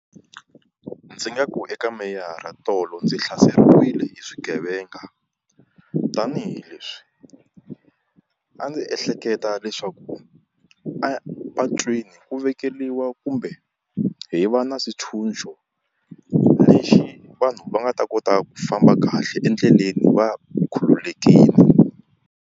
Ndzi nga ku eka meyara tolo ndzi hlaseriwile hi swigevenga tanihileswi a ndzi ehleketa leswaku a patwini ku vekeriwa kumbe hi va na swintshunxo lexi vanhu va nga ta kota ku famba kahle endleleni va khululekile.